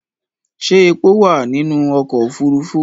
Ṣẹ́ epo wà nínú ọkọ̀ òfurufú?